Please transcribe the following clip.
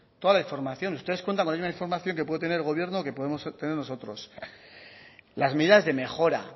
toda la información ustedes cuentan con la misma información que puede tener el gobierno o que podemos tener nosotros las medidas de mejora